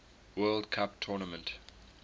world cup tournament